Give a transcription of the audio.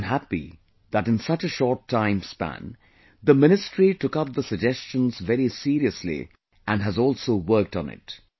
I am happy that in such a short time span the Ministry took up the suggestions very seriously and has also worked on it